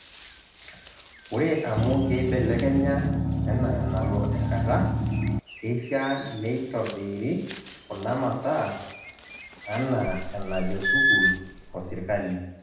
Ore amu keibelekenya ena enalo enkata, keishaa neitobiri kuna masaa anaa enajo sukuul osirkali.